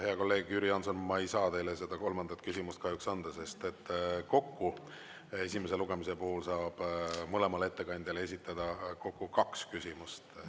Hea kolleeg Jüri Jaanson, ma ei saa teile seda kolmandat küsimust kahjuks anda, sest kokku, esimese lugemise puhul saab mõlemale ettekandjale esitada kokku kaks küsimust.